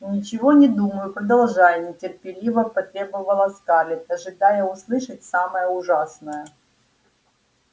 ничего не думаю продолжай нетерпеливо потребовала скарлетт ожидая услышать самое ужасное